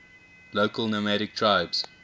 local nomadic tribes